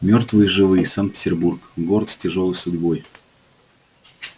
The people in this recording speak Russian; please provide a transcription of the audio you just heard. мёртвые и живые санкт-петербург город с тяжёлой судьбой